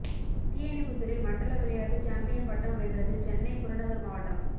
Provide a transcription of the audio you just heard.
தீயணைப்பு துறை மண்டல விளையாட்டு சாம்பியன் பட்டம் வென்றது சென்னை புறநகர் மாவட்டம்